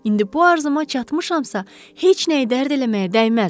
İndi bu arzuma çatmışamsa, heç nəyi dərd eləməyə dəyməz.